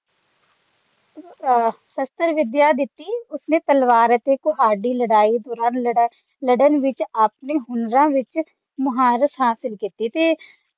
ਅਹ ਸ਼ਸਤਰ ਵਿਦਿਆ ਦਿੱਤੀ ਉਸਨੇ ਤਲਵਾਰ ਅਤੇ ਕੁਹਾੜੀ ਲੜਾਈ ਦੌਰਾਨ ਲੜਨ ਵਿੱਚ ਆਪਣੇ ਹੁਨਰਾਂ ਵਿੱਚ ਮਹਾਰਤ ਹਾਸਲ ਕੀਤੀ